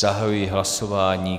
Zahajuji hlasování.